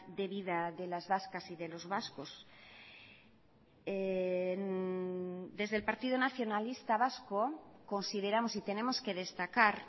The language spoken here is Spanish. de vida de las vascas y de los vascos desde el partido nacionalista vasco consideramos y tenemos que destacar